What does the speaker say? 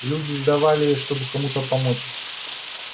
люди сдавали её чтобы кому-то помочь